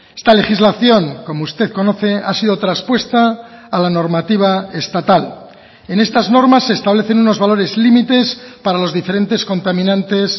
esta legislación como usted conoce ha sido traspuesta a la normativa estatal en estas normas se establecen unos valores límites para los diferentes contaminantes